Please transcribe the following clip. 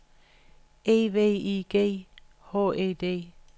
E V I G H E D